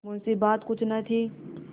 मुंशीबात कुछ न थी